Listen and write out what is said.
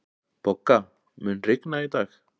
Bogga, mun rigna í dag?